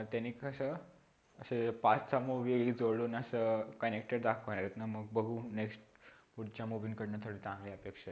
ते past चा movie जोडून अस connected दाखवणार आहेत ना मग बघू next पुढच्या movie कढून जरा चांगली अपेक्षा आहे.